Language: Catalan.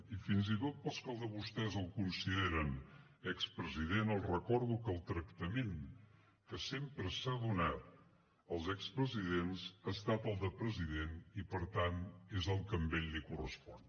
i fins i tot pels que de vostès el consideren expresident els recordo que el tractament que sempre s’ha donat als expresidents ha estat el de president i per tant és el que a ell li correspon